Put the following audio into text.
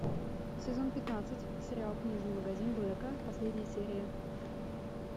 сезон пятнадцать сериал книжный магазин блэка последняя серия